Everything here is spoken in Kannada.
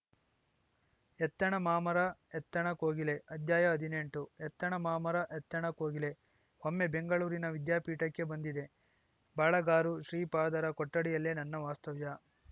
ಎತ್ತಣ ಮಾಮರಎತ್ತಣ ಕೋಗಿಲೆ ಅಧ್ಯಾಯ ಹದಿನೆಂಟು ಎತ್ತಣ ಮಾಮರ ಎತ್ತಣ ಕೋಗಿಲೆ ಒಮ್ಮೆ ಬೆಂಗಳೂರಿನ ವಿದ್ಯಾಪೀಠಕ್ಕೆ ಬಂದಿದ್ದೆ ಬಾಳಗಾರು ಶ್ರೀಪಾದರ ಕೊಠಡಿಯಲ್ಲೇ ನನ್ನ ವಾಸ್ತವ್ಯ